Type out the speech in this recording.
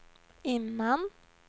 innan